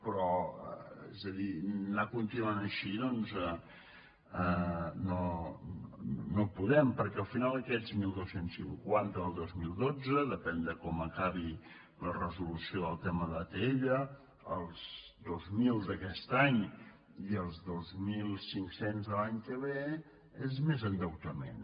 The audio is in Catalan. però és a dir anar continuant així no podem perquè al final aquests dotze cinquanta del dos mil dotze de·pèn de com acabi la resolució del tema d’atll els dos mil d’aquest any i els dos mil cinc cents de l’any que ve són més endeutament